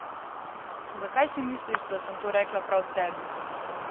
Zakaj si misliš, da sem to rekla prav tebi?